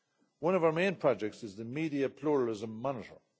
One of our main projects is the Media Pluralism Monitor.